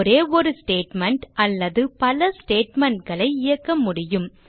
ஒரே ஒரு ஸ்டேட்மெண்ட் அல்லது பல statementகளை இயக்க முடியும்